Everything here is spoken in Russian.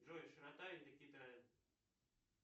джой широта индокитая